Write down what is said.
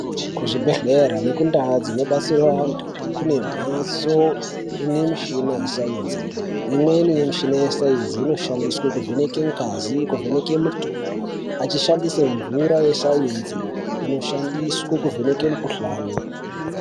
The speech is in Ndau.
Kuzvibhedhlera nekundau dzinobatsirwa antu kune mhatso ine mushina wesainzi imweni mushina wesainzi inoshandiswa kuvhenaka ngazi kuvheneka mutundo achishandisa mvura yesainzi inoshandiswa kuvheneka mukuhlani.